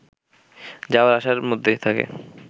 যাওয়া আসার মধ্যে থাকে